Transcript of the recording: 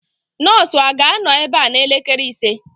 Nọọsụ a ga-anọ ebe a n'elekere ise